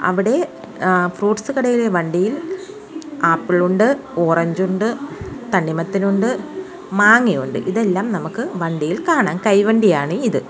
അവിടെ ഏഹ് ഫ്രൂട്ട്സ് കടയിലെ വണ്ടിയിൽ ആപ്പിൾ ഉണ്ട് ഓറഞ്ച് ഉണ്ട് തണ്ണിമത്തൻ ഉണ്ട് മാങ്ങയുണ്ട് ഇതെല്ലാം നമുക്ക് വണ്ടിയിൽ കാണാം കൈവണ്ടിയാണ് ഇത്.